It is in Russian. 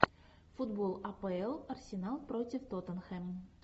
футбол апл арсенал против тоттенхэм